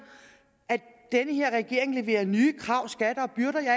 at den her regering leverer nye krav skatter